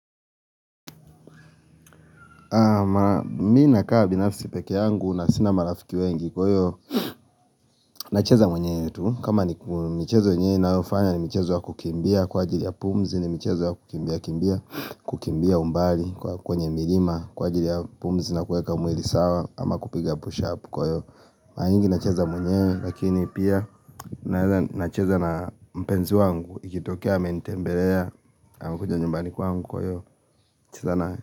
Mi na kaa binafisi peke yangu na sina marafiki wengi kwa hiyo na cheza mwenyewe tu kama ni mchezo yenye na ufanya ni mchezo wa kukimbia kwa ajili ya pumzi ni mchezo wa kukimbia kukimbia umbali kwa kwenye milima Kwa ajili ya pumzi na kueka mwili sawa ama kupiga push-up kwa hiyo maranyingi na cheza mwenyewe Lakini pia na cheza na mpenzi wangu ikitokea amenitembelea amekuja nyumbani kwangu kwa hiyo na cheza nae.